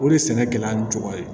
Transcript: O de ye sɛnɛkɛla ni jogo ye